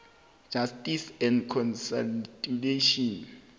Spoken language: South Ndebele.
justice and constitutional